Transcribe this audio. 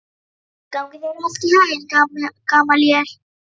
Gangi þér allt í haginn, Gamalíel.